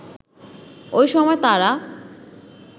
ওই সময় তারা